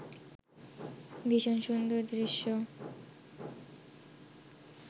ভীষণ সুন্দর দৃশ্য